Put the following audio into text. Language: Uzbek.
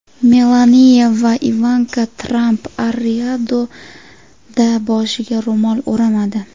Melaniya va Ivanka Tramp Ar-Riyodda boshiga ro‘mol o‘ramadi.